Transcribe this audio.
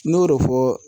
N y'o de fɔ